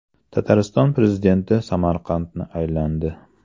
Tatariston prezidenti Samarqandni aylandi.